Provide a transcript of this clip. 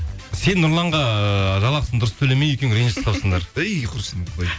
сен нұрланға жалақысын дұрыс төлемей екеуің ренжісіп қалыпсыңдар әй құрсын